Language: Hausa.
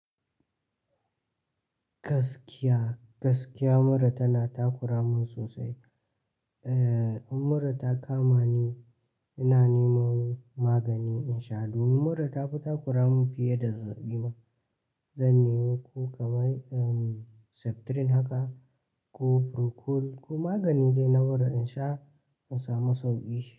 Gaskiya, gaskiya mura tana takura mun sosai. Eh, in mura ta kama ni, ina neman magani in sha. Domin mura ta fi takura mun fiye da zazzaɓi ma. Zan nemo ko kamar Septrin haka ko Procol ko magani dai na mura in sha in samu sauƙi.